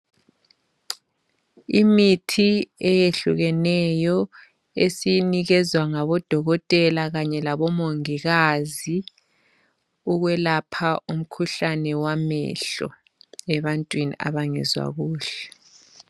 imithi eyehlukeneyo esiyinikezwa ngabo dokotela labomongikazi ukwelapha umkhuhlane wamehlo ebantwini abangezwa kuhle